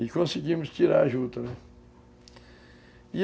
E conseguimos tirar a juta, né?